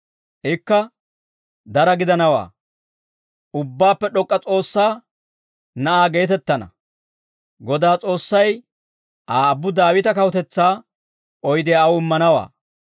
Ikka dara gidanawaa; Ubbaappe D'ok'k'a S'oossaa Na'aa geetettana; Godaa S'oossay Aa aabbu Daawita kawutetsaa oydiyaa aw immanawaa.